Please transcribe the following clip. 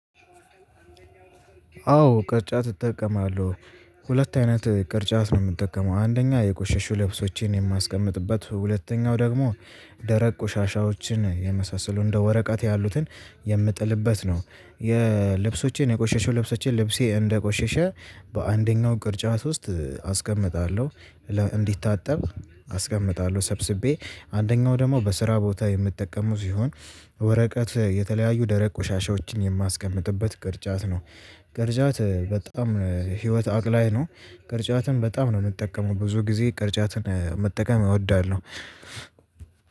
አዎ ቅርጫት እጠቀማለሁ። ሁለት አይነት ቅርጫት ነው የምጠቀመው አንደኛ የቆሸሹ ልብሶችን የማስቀምጥበት ሁለተኛው ደግሞ ደረቅ ቆሻሻዎችን የመሳሰሉ እንደ ወረቀት ያሉትን የምጥልበት ነው። የልብሶቼን የቆሸሸው ልብሶቼን ልብሴ እንደቆሸሸ በአንደኛው ቅርጫት ውስጥ አስቀምጣለሁ። እንዲታጠብ አስቀምጣለሁ ሰብስቤ አንደኛው ደግሞ በስራ ቦታ የምጠቀመው ሲሆን ወረቀት የተለያዩ ደረቅ ቆሻሻዎችን የማስቀምጥበት ቅርጫት ነው። ቅርጫት በጣም ህይወት አቅላይ ነው። ቅርጫትን በጣም ነው የምጠቀመው ብዙ ጊዜ ቅርጫትን መጠቀም እወዳለሁ።